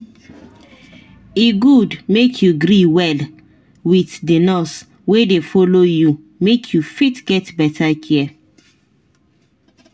e good make you gree well with the nurse wey dey follow you make you fit get better care